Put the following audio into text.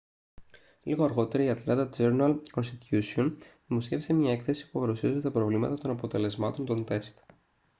λίγο αργότερα η ατλάντα τζέρναλ-κονστιτούσιον δημοσίευσε μια έκθεση που παρουσίαζε τα προβλήματα των αποτελεσμάτων των τεστ